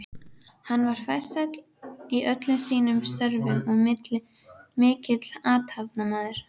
Hann var farsæll í öllum sínum störfum og mikill athafnamaður.